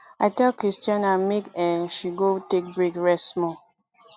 i tell christiana make um she go take break rest small